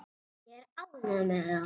Ég er ánægður með það.